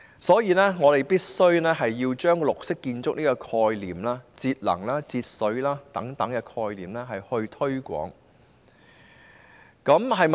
所以，我們必須推廣綠色建築、節能及節水等概念。